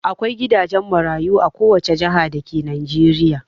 Akwai gidajen marayu a kowace jiha dake Najeriya.